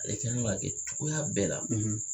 Ale kan k'a kɛ cogoya bɛɛ la